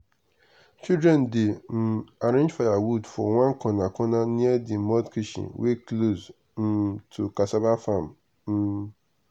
children dey um arrange firewood for one corner corner near the mud kitchen wey close um to cassava farm. um